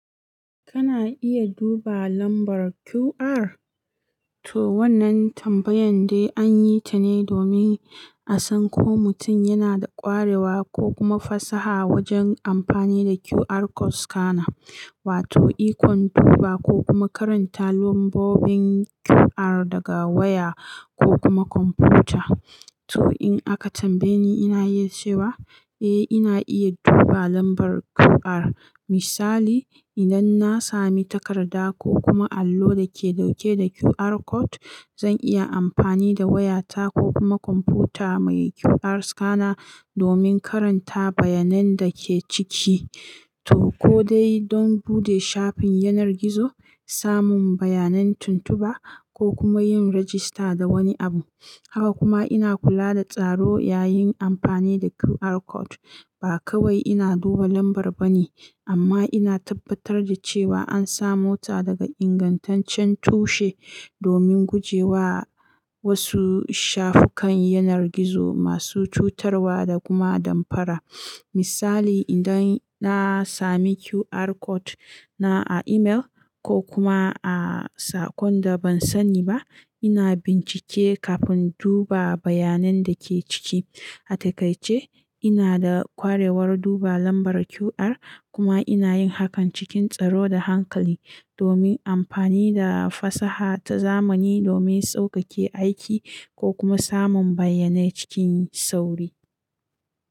Kana iya duba lambar QR? To wannan tambayan dai an yi ta ne domin a san ko mutum yana da ƙwarewa ko kuma fasaha wajen amfani da QR code scanner wato ikon duba ko kuma karanta lambobin QR daga waya ko kuma kwamfuta. To in aka tambaye ni, ina iya cewa eh ina iya duba lambar QR. Misali, idan na sami takarda ko kuma allo da ke dauke da QR code, zan iya amfani da wayata ko kuma kwamfuta mai QR scanner domin karanta bayanan da ke ciki. To ko dai don bude shafin yanar gizo, samun bayanan tuntuba ko kuma yin rajista da wani abu. Haka kuma ina kula da tsaro yayin amfani da QR code. Ba kawai ina duba lambar ba ne, amma ina tabbatar da cewa an samo ta daga ingantaccen tushe domin guje wa wasu shafukan yanar gizo masu cutarwa da kuma damfara. Misali, idan na sami QR code na a email ko kuma a saƙon da ban sani ba, ina bincike kafin duba bayanan da ke ciki. A takaice, ina da ƙwarewar duba lambar QR kuma ina yin hakan cikin tsaro da hankali domin amfani da fasaha ta zamani domin sauƙaƙe aiki ko kuma samun bayanai cikin sauri.